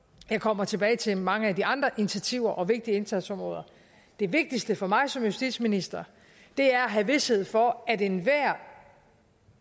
jeg kommer tilbage til mange af de andre initiativer og vigtige indsatsområder det vigtigste for mig som justitsminister er at have vished for at enhver